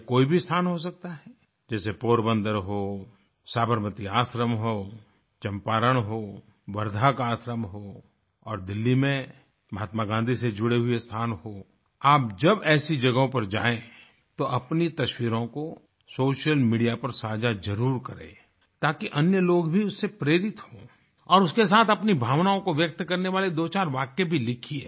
यह कोई भी स्थान हो सकता है जैसे पोरबंदर हो साबरमती आश्रम हो चंपारण हो वर्धा का आश्रम हो और दिल्ली में महात्मा गाँधी से जुड़े हुए स्थान हो आप जब ऐसी जगहों पर जाएँ तो अपनी तस्वीरों को सोशल मीडिया पर साझा जरुर करें ताकि अन्य लोग भी उससे प्रेरित हों और उसके साथ अपनी भावनाओं को व्यक्त करने वाले दोचार वाक्य भी लिखिए